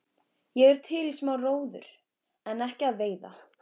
Ég er til í smá róður en ekki að veiða.